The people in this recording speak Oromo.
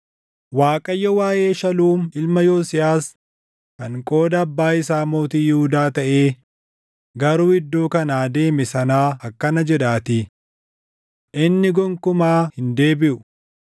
Waaqayyo waaʼee Shaluum ilma Yosiyaas kan qooda abbaa isaa mootii Yihuudaa taʼee garuu iddoo kanaa deeme sanaa akkana jedhaatii: “Inni gonkumaa hin deebiʼu.